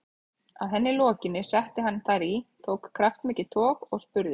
Að henni lokinni setti hann þær í, tók kraftmikið tog og spurði